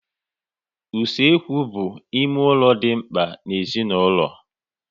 Usekwu bụ ime ụlọ dị mkpa n'ezinaulo